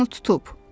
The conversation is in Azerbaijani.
O hər yanı tutub.